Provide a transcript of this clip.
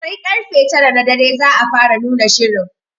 Sar karfe tara na dare za a fara nuna shirin.